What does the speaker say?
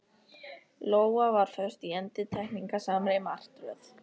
Lóa var föst í endurtekningasamri martröð.